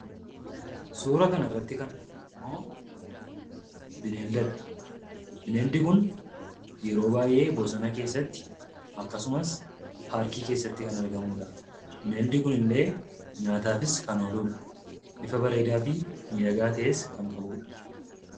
Suuraa kanarratti kan arginummoo bineeldadha. Bineeldi kun yeroo baay'ee bosona keessatti akkasumas paarkii keessatti kan argamudha. Bineeldi kunillee nyaataafis kan ooludha. Bifa bareedaa fi miidhagaa ta'es kan qabudha.